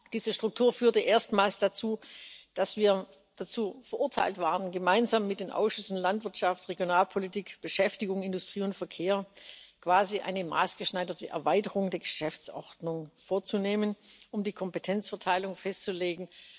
Diese Struktur führte erstmals dazu, dass wir dazu verurteilt waren, gemeinsam mit den Ausschüssen für Landwirtschaft, Regionalpolitik, Beschäftigung, Industrie und Verkehr quasi eine maßgeschneiderte Erweiterung der Geschäftsordnung vorzunehmen, um die Kompetenzverteilung festzulegen.